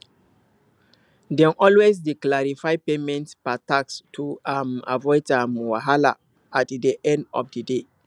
dem always dey clarify payment per task to um avoid um wahala at di end of di day